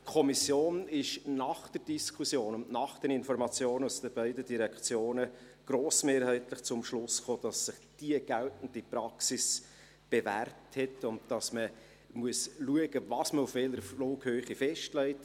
Die Kommission kam nach der Diskussion und nach den Informationen aus den beiden Direktionen grossmehrheitlich zum Schluss, dass sich die geltende Praxis bewährt hat, und dass man schauen muss, was man auf welcher Flughöhe festlegt.